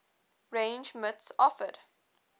range mits offered